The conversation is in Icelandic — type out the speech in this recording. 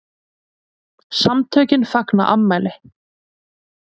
SAMTÖKIN FAGNA AFMÆLI